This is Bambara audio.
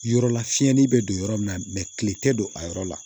Yɔrɔ la fiyɛli bɛ don yɔrɔ min na kile tɛ don a yɔrɔ la